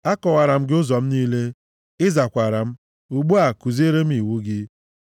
Akọwaara m gị ụzọ m niile, ị zakwara m; ugbu a, kuziere m iwu gị.